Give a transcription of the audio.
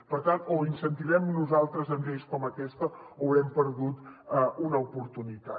per tant o ho incentivem nosaltres amb lleis com aquesta o haurem perdut una oportunitat